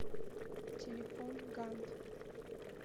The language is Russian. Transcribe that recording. телефон гант